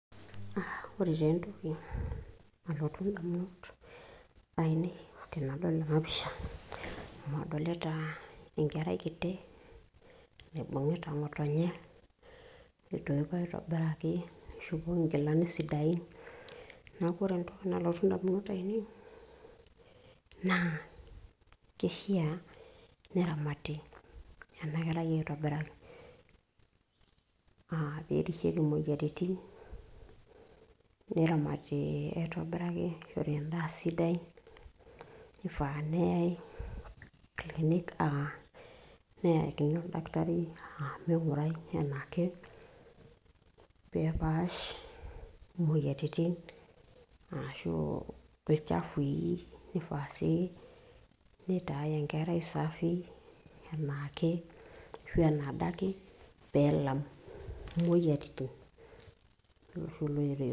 Ore taa entoki nalotu indamunot ainei tenadol ena pisha, amu adolita enkerai kitii naibung'ita ng'otonye neitoipo aitobiraki nishopoki inkilani sidain. Neeku ore entoki nalotu indamunot ainei naa keishiaa neramati ena kerai aitobiraki. aa pe erishieki imoyiaritin neramati aitobiraki, nishori endaa sidai nifaa neyai clinic, aa neyakini oldakitari aa ming'urai enaake pee epaash imoyiaritin ashu olchafui, nifaa nitai enkerai safi enaake pee elam imoyiaritin.